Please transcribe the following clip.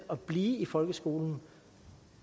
at blive i folkeskolen